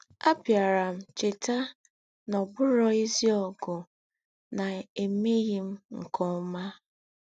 “Àbíárá m chétà nà ọ̀ bùrọ̀ èzí ógù nà èmèghí m nké ọ́mà.”